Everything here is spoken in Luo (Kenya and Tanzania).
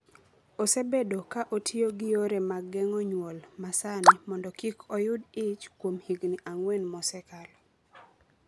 osebedo ka otiyo gi yore mag geng’o nyuol ma sani mondo kik oyud ich kuom higni ang’wen mosekalo,